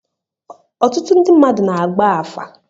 Ọtụtụ ndị mmadụ na-agba afa.